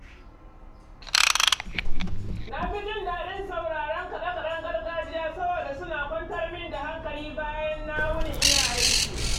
Na fi jin daɗin sauraron kaɗe-kaɗen gargajiya saboda suna kwantar min da hankali bayan na wuni ina aiki.